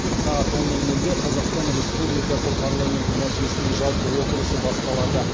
сағат он нөл нөлде қазақстан республикасы парламенті мәжілісінің жалпы отырысы басталады